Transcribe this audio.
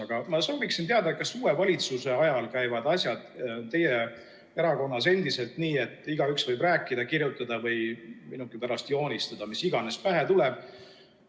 Aga ma sooviksin teada, kas uue valitsuse ajal käivad asjad teie erakonnas endiselt nii, et igaüks võib rääkida, kirjutada või, minugi pärast, joonistada, mis iganes pähe tuleb.